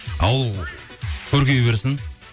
ауыл көркейе берсін